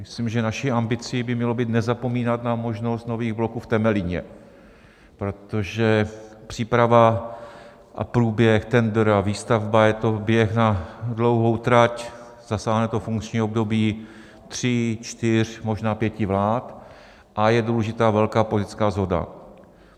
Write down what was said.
Myslím, že naší ambicí by mělo být nezapomínat na možnost nových bloků v Temelíně, protože příprava a průběh tendru a výstavba, je to běh na dlouhou trať, zasáhne to funkční období tří, čtyř, možná pěti vlád a je důležitá velká politická shoda.